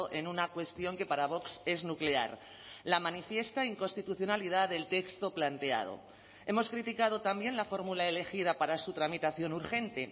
en una cuestión que para vox es nuclear la manifiesta inconstitucionalidad del texto planteado hemos criticado también la fórmula elegida para su tramitación urgente